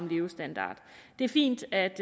levestandarden det er fint at